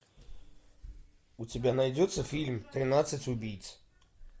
у тебя найдется фильм тринадцать убийц